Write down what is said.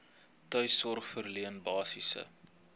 tuissorg verleen basiese